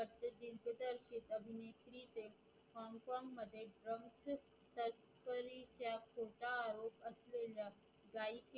गायकीच्या खोटा आरोप असलेलेल्या